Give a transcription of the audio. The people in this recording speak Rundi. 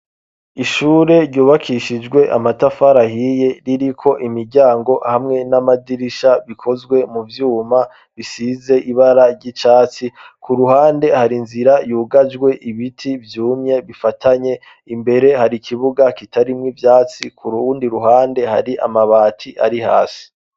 Ishure ryubakishijwe amatafari ahiye riri ko imiryango hamwe n'amadirisha bikozwe mu byuma bisize ibara ry'icatsi ku ruhande hari nzira yugajwe ibiti byumye bifatanye imbere hari kibuga kitari mw'ibyatsi ku ruundi ruhande hari amabati ari hasi.